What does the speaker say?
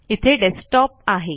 इथे डेस्कटॉप आहे